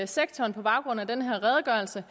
sektoren på baggrund af den her redegørelse